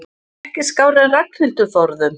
Ekki skárri en Ragnhildur forðum.